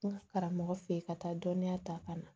N ka karamɔgɔ fɛ yen ka taa dɔnniya ta ka na